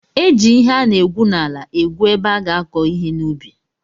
E ji ihe ana egwu n'ala egwu ebe a ga-akọ ihe n'ubi.